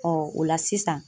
o la sisan